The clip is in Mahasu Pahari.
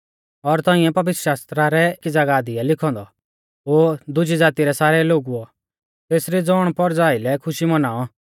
और तौंइऐ पवित्रशास्त्रा रै एकी ज़ागाह दी आ लिखौ औन्दौ ओ दुज़ी ज़ाती रै सारै लोगुओ तेसरी ज़ौणपौरज़ा आइलै खुशी मनाऔ